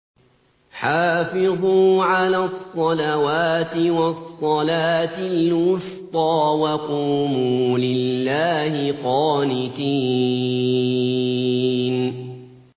حَافِظُوا عَلَى الصَّلَوَاتِ وَالصَّلَاةِ الْوُسْطَىٰ وَقُومُوا لِلَّهِ قَانِتِينَ